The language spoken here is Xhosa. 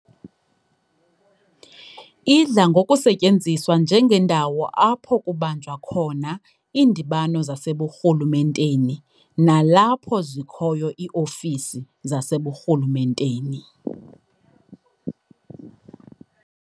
Idla ngokusebenza njengendawo apho kubanjwa khona iindibano zaseburhulumenteni nalapho zikhoyo ii-ofisi zaseburhulumenteni.